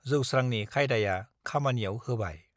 जौस्रांनि खायदाया खामानियाव होबाय।